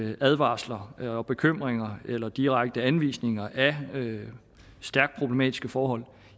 de advarsler og bekymringer eller direkte anvisninger af stærkt problematiske forhold